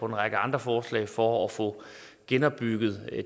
en række andre forslag for at få genopbygget